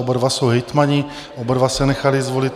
Oba dva jsou hejtmani, oba dva se nechali zvolit.